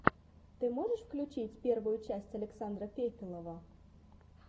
ты можешь включить первую часть александра фефелова